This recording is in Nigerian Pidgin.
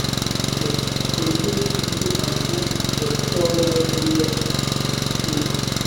we dey pack yam sett inside dry sawdust to stop am from rotty rotty